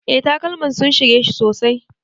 Eh takalman sun shige ni sosai.